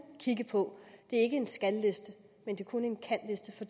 kigge på det er ikke en skal liste men kun en kan liste for